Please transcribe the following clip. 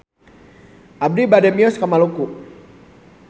Abi bade mios ka Maluku